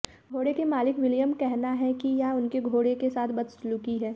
घोड़े के मालिक विलियम कहना है कि यह उनके घोड़े के साथ बदसलूकी है